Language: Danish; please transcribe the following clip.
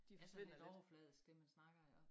Altså lidt overfladisk dem der snakker iggå